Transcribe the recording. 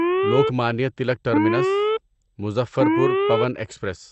Lokmanya Tilak terminus Muzaffarpur Pawan express